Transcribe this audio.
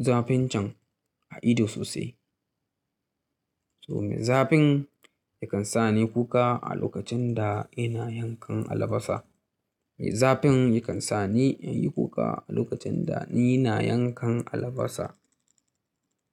zafin can a ido sosai. Toh mai zafin yakan sa ni kuka a lokacin da ina yankan albasa. Mai zafin yakan sa ni in yi kuka a lokacin da ni ina yankan albasa?